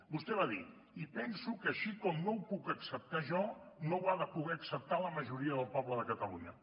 vostè va dir i penso que així com no ho puc acceptar jo no ho ha de poder acceptar la majoria del poble de catalunya